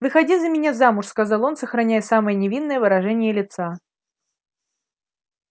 выходи за меня замуж сказал он сохраняя самое невинное выражение лица